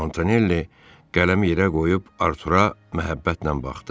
Montanelli qələmi yerə qoyub Artura məhəbbətlə baxdı.